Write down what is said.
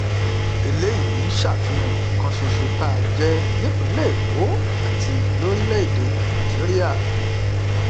eléyìí ń ṣàfihàn ọ̀kan ṣoṣo tá a jẹ́ nípìnlẹ̀ èkó àti lórílẹ-èdè nàìjíríà